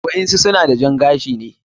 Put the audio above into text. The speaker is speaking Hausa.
waɗansu suna da jan gashi.